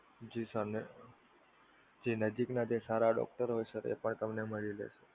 જી sir જી નજીક ના જે સારા doctor હોય શકે તે પણ તમને મળી શકે.